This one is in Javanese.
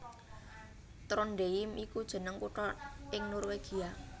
Trondheim iku jeneng kutha ing Norwegia